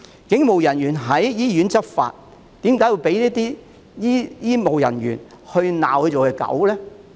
警務人員在醫院執法，為何會被醫護人員辱罵是狗呢？